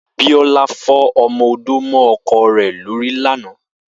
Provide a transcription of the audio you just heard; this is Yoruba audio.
Biola fọ ọmọ-ódó mọ ọkọ ẹ̀ lóri làná